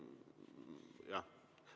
Nii et, jah.